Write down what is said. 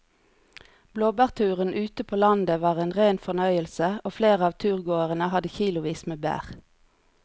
Blåbærturen ute på landet var en rein fornøyelse og flere av turgåerene hadde kilosvis med bær.